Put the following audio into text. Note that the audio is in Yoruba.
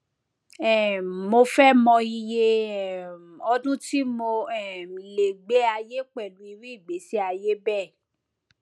um mo fẹ mọ iye um ọdún tí mo um lè gbé láyé pẹlú irú ìgbésí ayé bẹẹ